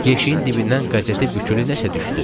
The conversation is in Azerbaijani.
Yeşiyin dibindən qəzetə bükülü nəsə düşdü.